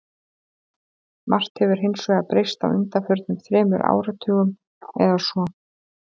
Margt hefur hins vegar breyst á undanförnum þremur áratugum eða svo.